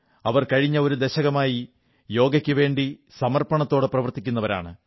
അവർ കഴിഞ്ഞ ഒരു ദശകമായി യോഗയ്ക്കുവാണ്ടി സമർപ്പണത്തോടെ പ്രവർത്തിക്കുന്നവരാണ്